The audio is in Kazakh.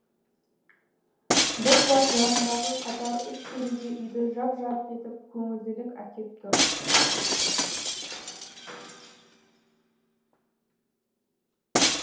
бір жақ жарындағы қатар үш терезе үйді жап жарық етіп көңілділік әкеп тұр